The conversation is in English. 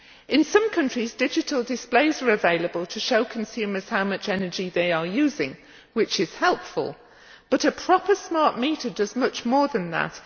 In some countries, digital displays are available to show consumers how much energy they are using which is helpful but a proper smart meter does much more than that.